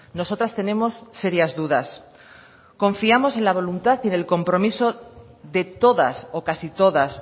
nosotras tenemos serias dudas confiamos en la voluntad y en el compromiso de todas o casi todas